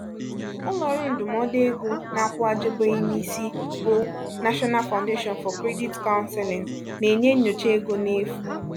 ụlọọrụ ndụmọdụ ego na-akwuwagjibueu n'isi bu national foundation for credit counseling na-enye nnyocha ego n'efu.